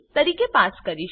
તરીકે પાસ કરીશું